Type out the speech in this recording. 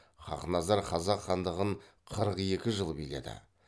хақназар қазақ хандығын қырық екі жыл биледі